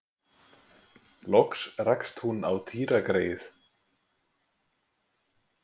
Loks rakst hún á Týra greyið.